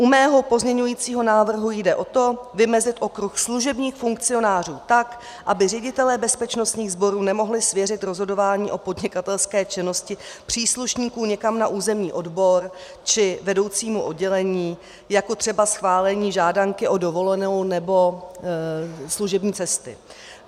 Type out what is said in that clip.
U mého pozměňujícího návrhu jde o to vymezit okruh služebních funkcionářů tak, aby ředitelé bezpečnostních sborů nemohli svěřit rozhodování o podnikatelské činnosti příslušníků někam na územní odbor či vedoucímu oddělení jako třeba schválení žádanky o dovolenou nebo služební cestu.